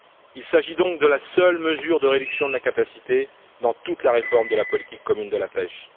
Il s'agit donc de la seule mesure de réduction de la capacité dans toute la réforme de la politique commune de la pêche.